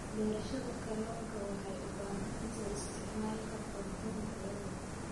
Beerashada kalluunka waxay u baahan tahay isticmaalka quudin tayo leh.